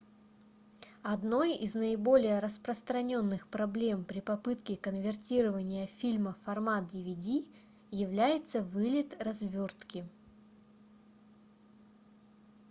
одной из наиболее распространённых проблем при попытке конвертирования фильма в формат dvd является вылет развертки